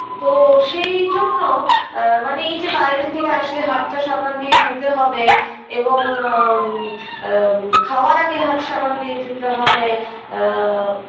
তো সেইজন্য আ মানে এই যে বাইরে থেকে আসলে হাতটা সাবান দিয়ে ধুতে হবে এবং আ উ আ খাওয়ার আগে হাত সাবান দিয়ে ধুতে হবে আ